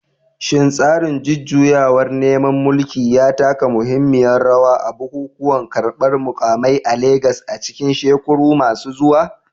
Shin tsarin jujjuyawar neman mulki ya taka muhimmiyar rawa a bukukuwan karbar mukamai a Legas a cikin shekaru masu zuwa?